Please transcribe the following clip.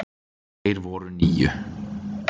Þeir voru níu.